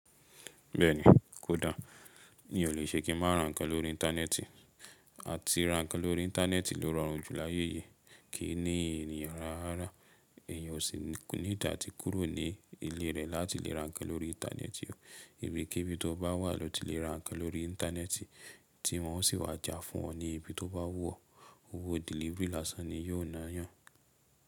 Bẹ́ẹ̀ni, kò da. Mi o lè ṣe kí máa ra ǹkan lórí íńtánẹ́ẹ̀tì. À ti ra ǹkan lórí íńtánẹ́ẹ̀tì ló rọrùn jù láyé yìí. Kí ní ènìyàn lara rárá, ènìyàn ò sì ko neee ati kúrò ní ilé rẹ̀ láti lè ra ǹkan lórí íńtánẹ́ẹ̀tì. Ìbíkibí tó bá wà lọ́ ti lè ra ǹkan lórí íńtánẹ́ẹ̀tì tí wọ́n ó sì wá já fún ọ ní ibi tó bá wù ọ́. Owó delivery lásán ni yiò ná yàn.